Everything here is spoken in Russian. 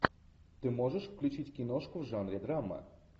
ты можешь включить киношку в жанре драма